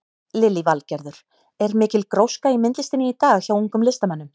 Lillý Valgerður: Er mikil gróska í myndlistinni í dag hjá ungum listamönnum?